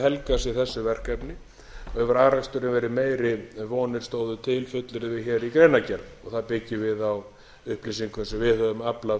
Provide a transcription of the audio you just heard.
helgað sér þessi verkefni hefur afraksturinn verið meiri en vonir stóðu til fullyrðir hér í greinargerð það byggjum við á upplýsingum sem við höfum aflað